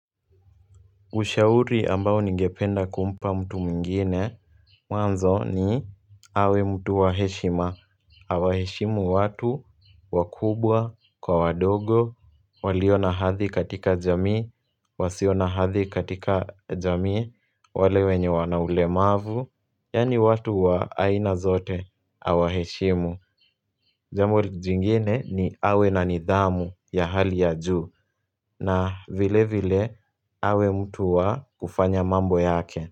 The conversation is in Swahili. Ushauri ambao ningependa kumpa mtu mwingine Mwanzo ni awe mtu wa heshima awa heshimu watu, wakubwa, kwa wadogo, walionahathi katika jamii Wasionahathi katika jamii, wale wenye wanaulemavu Yani watu wa aina zote, awa heshimu Jambo jingine ni awe na nidhamu ya hali ya juu na vile vile hawe mtuwa kufanya mambo yake.